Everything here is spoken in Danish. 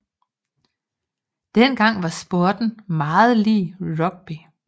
Dengang var sporten meget lig rugby